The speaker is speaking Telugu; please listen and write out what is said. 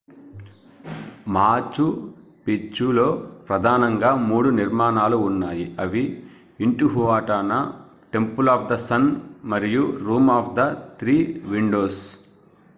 machu picchuలో ప్రధానంగా 3 నిర్మాణాలు ఉన్నాయి అవి intihuatana temple of the sun మరియు room of the three windows